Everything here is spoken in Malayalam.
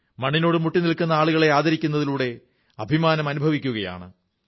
മണ്ണിനോടു മുട്ടി നിൽക്കുന്ന ആളുകളെ ആദരിക്കുന്നതിലൂടെ അഭിമാനം അനുഭവിക്കുകയാണ്